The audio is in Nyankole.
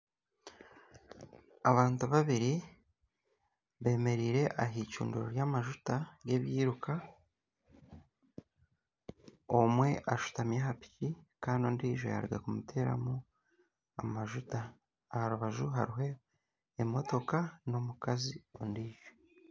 Abantu babiri bemereire ah'icundiro ry'amajuta ry'ebiruuka. Omwe ashutami aha piki kandi n'ondijo yaruga kumuteramu amajuta. Aha rubaju hariho emotoka n'omukazi ondijo.